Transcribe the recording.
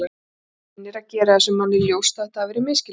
Reynir að gera þessum manni ljóst að þetta hafi verið misskilningur.